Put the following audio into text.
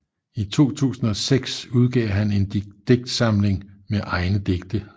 I 2006 udgav han en digtsamling med egne digte